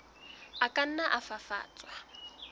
a ka nna a fafatswa